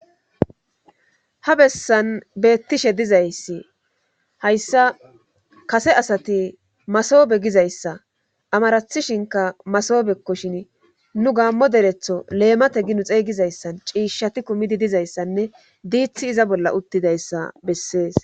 ha bessan beettishe dizayssi hayssa kase asati masoobe gizayssa amarathishinka masoobekkoshin nu gaammo deretho leemate ginu xeygizayssan ciishshati kumidi dizayssanne diithi iza bolla uttidayssa bessees